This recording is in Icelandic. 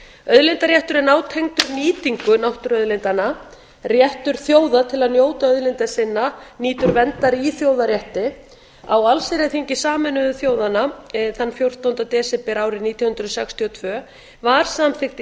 auðlindaréttur er nátengdur nýtingu náttúruauðlindanna réttur þjóða til að njóta auðlinda sinna nýtur verndar í þjóðarétti á allsherjarþingi sameinuðu þjóðanna fjórtánda desember árið nítján hundruð sextíu og tvö var samþykkt